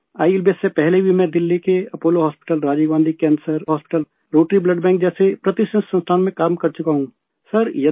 آئی L B S سے پہلے بھی میں دلی کے Apollo hospital, Rajiv Gandhi cancer hospital, rotary blood bank جیسے معروف اداروں میں کام کر چکا ہوں